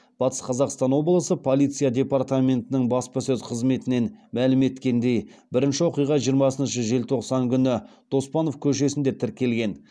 батыс қазақстан облысы полиция департаментінің баспасөз қызметінен мәлім еткендей бірінші оқиға жиырмасыншы желтоқсан күні доспанов көшесінде тіркелген